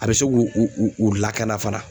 A bɛ se k'u u lakana fana